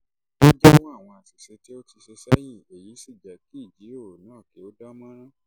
ó jẹ́wọ́ àwọn àṣìṣe tó ti ṣe sẹ́yìn èyí sì jẹ́ kí ìjíròrò náà tẹ̀síwájú